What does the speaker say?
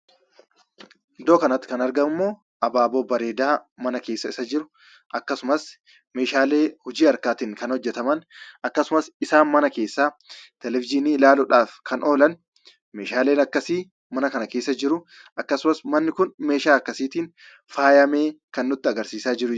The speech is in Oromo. Iddoo kanatti kan argamummoo abaaboo, bareedaa mana keessa isa jiru akkasumas, meeshaalee hojii harkaatiin kan hojjataman akkasumas isaan mana keessaa Televizyinii ilaaluudhaaf kana oolan meeshaaleen akkasii mana kana keessa jiruu. akkasumas manni kun meeshaalee akkasiitiin faayyameen kan nutti agarsiisaa jirudha.